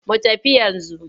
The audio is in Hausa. Mu tafi yanzu.